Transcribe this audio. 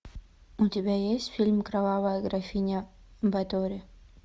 у тебя есть фильм кровавая графиня батори